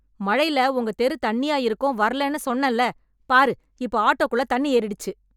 மழைல உங்க தெரு தண்ணியா இருக்கும் வரலேன்னு சொன்னேன்ல, பாரு இப்ப ஆட்டோக்குள்ள தண்ணி ஏறிடுச்சு.